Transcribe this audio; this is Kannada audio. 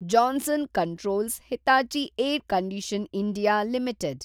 Johnson controls Hitachi air condition. India limited